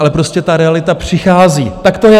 Ale prostě ta realita přichází, tak to je.